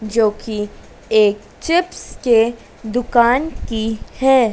जोकि एक चिप्स के दुकान की है।